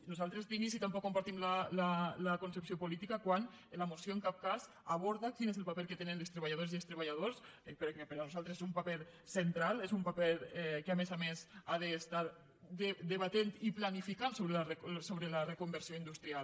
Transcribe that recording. nosaltres d’inici tampoc compartim la concepció política quan la moció en cap cas aborda quin és el paper que tenen les treballadores i els treballadors per a nosaltres un paper central és un paper que a més a més ha d’estar debatent i planificant sobre la reconversió industrial